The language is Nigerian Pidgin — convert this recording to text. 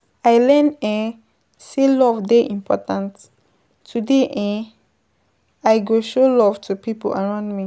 I learn um sey love dey important, today I um go show love to pipo around me.